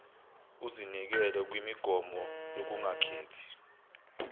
uzinikele kwimigomo yokungakhethi